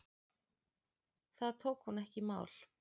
Það tók hún ekki í mál.